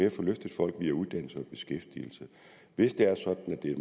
at få løftet folk via uddannelse og beskæftigelse hvis det er sådan at det